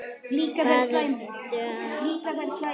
Hvað ertu að babla?